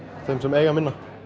þeim sem eiga minna